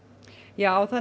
já það